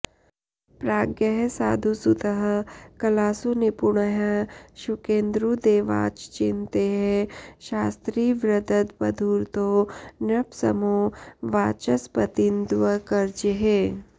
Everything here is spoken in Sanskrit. प्राज्ञः साधुसुतः कलासु निपुणः शुक्रेन्दुदेवाच्चिन्तैः शास्त्री वृद्दबधूरतो नृपसमो वाचस्पतीन्द्वर्कजैः